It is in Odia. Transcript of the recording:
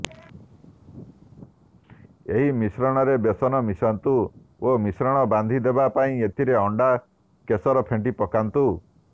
ଏହି ମିଶ୍ରଣରେ ବେସନ ମିଶାନ୍ତୁ ଓ ମିଶ୍ରଣ ବାନ୍ଧି ହେବା ପାଇଁ ଏଥିରେ ଅଣ୍ଡାର କେଶର ଫେଣ୍ଟି ପକାନ୍ତୁ